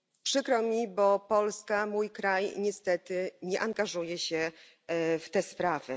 Przykro mi, bo Polska, mój kraj, niestety nie angażuje się w te sprawy.